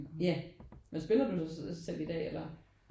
Ja men spiller du så også selv i dag eller?